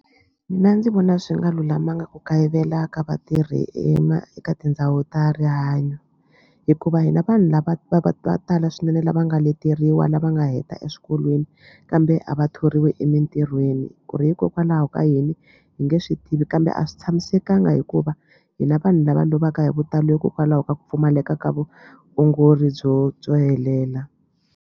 Mina ndzi vona swi nga lulamanga ku kayivela ka vatirhi eka tindhawu ta rihanyo hikuva hina vanhu lava va va tala swinene lava nga leteriwa lava nga heta eswikolweni kambe a va thoriwi emintirhweni ku ri hikokwalaho ka yini hi nge swi tivi kambe a swi tshamisekanga hikuva hina vanhu lava lovaka hi vutalo hikokwalaho ka ku pfumaleka ka vuongori byo byo helela.